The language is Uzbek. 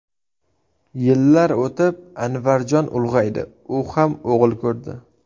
Yillar o‘tib Anvarjon ulg‘aydi, u ham o‘g‘il ko‘rdi.